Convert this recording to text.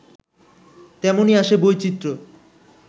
তেমনই আসে বৈচিত্র্য